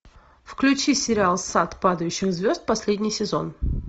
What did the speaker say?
включи сериал сад падающих звезд последний сезон